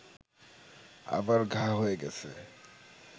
আবার ঘা হয়ে গেছে